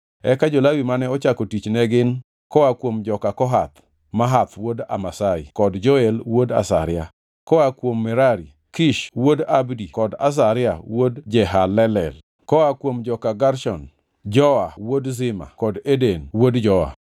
Eka jo-Lawi mane ochako tich ne gin: koa kuom joka Kohath, Mahath wuod Amasai kod Joel wuod Azaria; koa kuom Merari, Kish wuod Abdi kod Azaria wuod Jehalelel; koa kuom joka Gershon, Joa wuod Zima kod Eden wuod Joa;